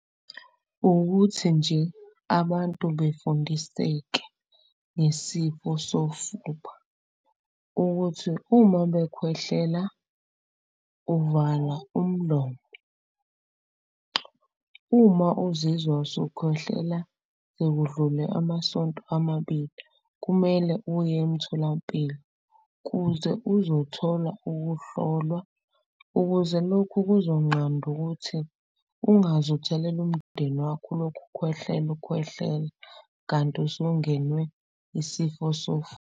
Ukuthi nje abantu befundiseke ngesifo sofuba ukuthi, uma bekhwehlela uvala umlomo. Uma uzizwa usukhohlela sekudlule amasonto amabili kumele uye emtholampilo. Kuze uzothola ukuhlolwa ukuze lokhu kuzonqanda ukuthi ungaze uthelele umndeni wakho. Ulokhu ukhwehlela ukhwehlela kanti usungenwe isifo .